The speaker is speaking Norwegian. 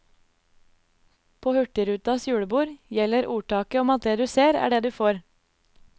På hurtigrutas julebord gjelder ordtaket om at det du ser, er det du får.